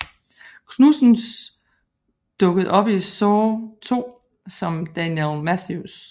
Knudsens dukkede op i Saw II som Daniel Matthews